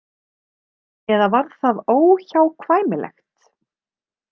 Eða var það óhjákvæmilegt?